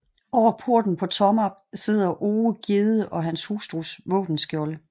Over porten på Tomarp sidder Ove Gjedde og hustrus våbenskjolde